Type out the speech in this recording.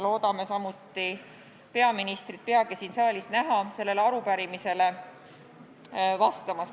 Loodame peagi näha peaministrit siin saalis sellele arupärimisele vastamas.